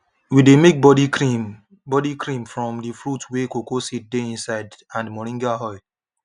we dey make body cream body cream from the fruit wey cocoa seed dey inside and moringa oil